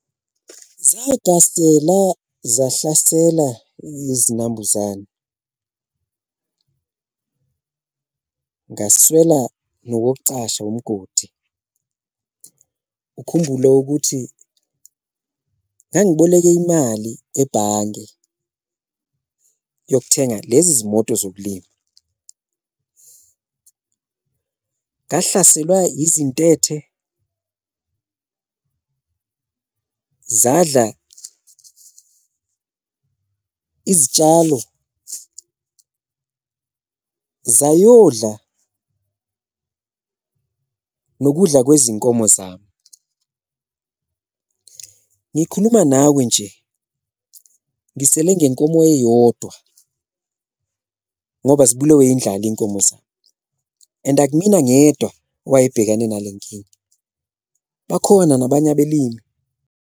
Zahlasela zahlasela izinambuzane ngaswela nowokucasha umgodi ukhumbule ukuthi ngangiboleke imali ebhange yokuthenga lezi zimoto zokulima, ngahlaselwa izintethe , zadla izitshalo, zayodla nokudla kwezinkomo zami. Ngikhuluma nawe nje ngisele ngenkomo eyodwa ngoba zibulawe indlala iy'nkomo zami and akumina ngedwa owayebhekane nale nkinga, bakhona nabanye abelimi.